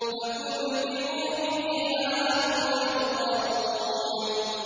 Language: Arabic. فَكُبْكِبُوا فِيهَا هُمْ وَالْغَاوُونَ